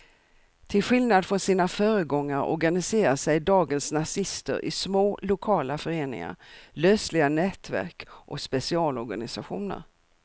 Till skillnad från sina föregångare organiserar sig dagens nazister i små lokala föreningar, lösliga nätverk och specialorganisationer.